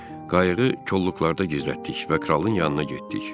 Qayığı kolluqlarda gizlətdik və kralın yanına getdik.